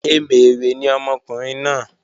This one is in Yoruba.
Emèrè ni ọmọkùnrin náà